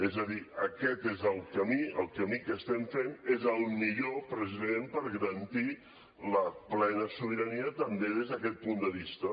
és a dir aquest és el camí el camí que estem fent és el millor precisament per garantir la plena sobirania també des d’aquest punt de vista